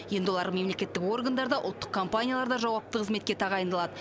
енді олар мемлекеттік органдарда ұлттық компанияларда жауапты қызметке тағайындалады